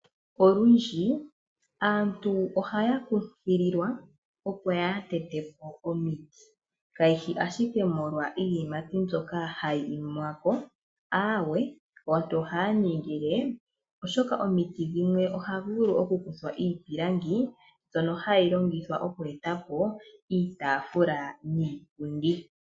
Olundji aantu ohaya kunkililwa opo kaaya tete po omiti, kayishi ashike molwa iiyimati mbyoka hayi imiwa ko, aawe ohaya ningile oshoka omiti dhimwe ohaku vulu oku kuthwa iipilangi mbyono hayi longithwa oku eta po iitaafula niipundi.